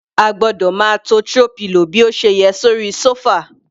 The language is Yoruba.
A gbọ́dọ̀ máa to throw pillow bí ó ṣe yẹ sórí sofa.